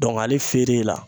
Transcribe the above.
ale feere la